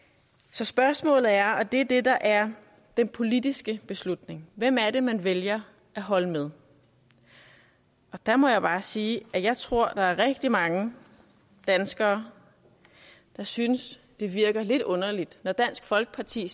så spørgsmålet er og det er det der er den politiske beslutning hvem er det man vælger at holde med og der må jeg bare sige at jeg tror der er rigtig mange danskere der synes det virker lidt underligt når dansk folkeparti